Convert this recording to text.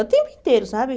O tempo inteiro, sabe?